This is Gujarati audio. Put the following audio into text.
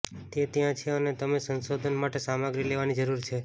તે ત્યાં છે અને તમે સંશોધન માટે સામગ્રી લેવાની જરૂર છે